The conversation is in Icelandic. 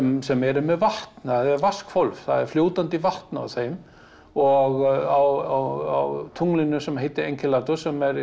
sem eru með vatn það er það er fljótandi vatn á þeim og á tunglinu sem heitir Engilatus sem